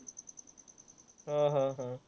हा, हा, हा.